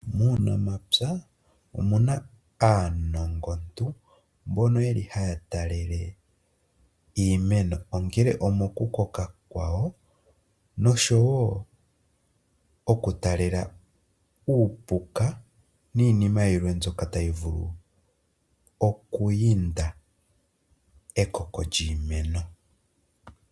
Muunamapya omuna aanongontu mbono ye li haya talele iimeno, ongele omo ku koka kwayo noshowo okutalela uupuka niinima yilwe mbyoka tayi vulu okuyinda ekoko lyiimeno.